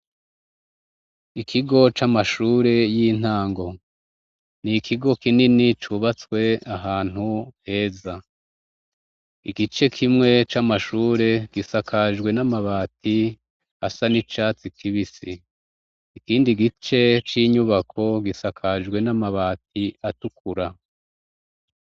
Ikigo c'amashure y'intango, ni ikigo kinini cubatswe ahantu heza. Igice kimwe c'amashure gisakajwe n'amabati asa n'icatsi kibisi, ikindi gice c'inyubako gisakajwe n'amabati atukura.